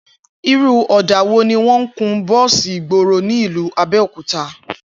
Irú ò̩dà wo ni wó̩n ń kun bó̩ò̩sì ìgboro ní ìlú Abé̩òkúta?